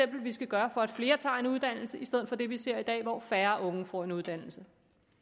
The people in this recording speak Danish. vi skal gøre for at flere tager en uddannelse i stedet for det vi ser i dag hvor færre unge får en uddannelse